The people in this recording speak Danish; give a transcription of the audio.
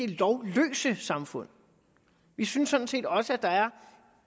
det lovløse samfund vi synes sådan set også at der er